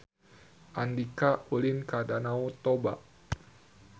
Andika ulin ka Danau Toba